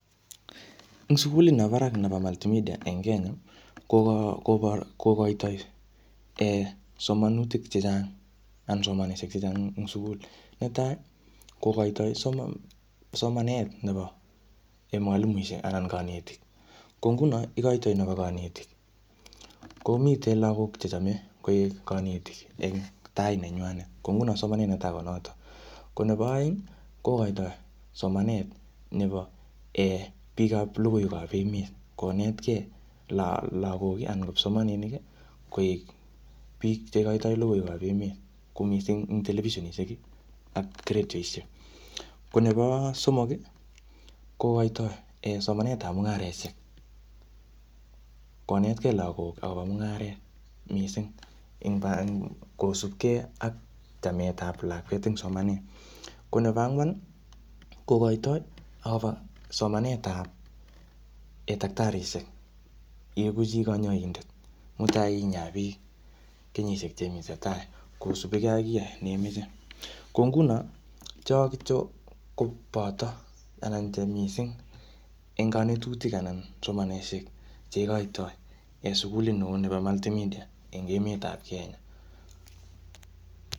Eng sugulit nebo barak nebo multimidea, nemitdn en kenya, kokoitoi somanutik chechang anan somanishek chechang eng sukul. Netai kokaitoi samanet nebo mwalimuishek anan konetik . Ko nguno so igoitoi nebi konetik, komitei lagok che chamei koek kanetik eng tai nenywai. Ko nguno samanet netei konoto. Nebo oeng kokoitoi somanet nebo bikab logiiwek ab emet. konetkei lagok anan kipsomaninik koek biik cheigoitoi lgoiwek ab emet, kou mising eng televisinishekak radioishek. Ko nebo somok, kokoitoi somatetab mung'areshek. Konetkei lagok akobo mung'aret kosupkei ak chametab lakwet eng somanet. Ko nebo ang'wan kokoitoi agobo somanetab tekitarishek. Iegu chi kanyoindet mutai inyaa biik kenyishek chemiten tai kosupkei ak kiy neimiche. Ko nguno cho kityo ko boto aban che mising eng kanetutik anan somanetcheigiitoi eng sukulit anyun nebi multi media eng emetab kenya.